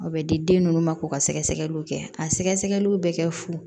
O bɛ di den ninnu ma k'u ka sɛgɛsɛgɛliw kɛ a sɛgɛsɛgɛliw bɛ kɛ fu